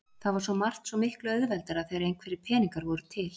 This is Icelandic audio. Það var svo margt svo miklu auðveldara þegar einhverjir peningar voru til.